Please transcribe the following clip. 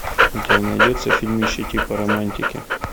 у тебя найдется фильмище типа романтики